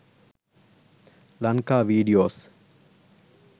lanka videos